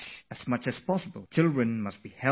Today, I don't want to say much to the parents